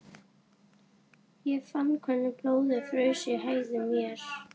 Ég fann hvernig blóðið fraus í æðum mér.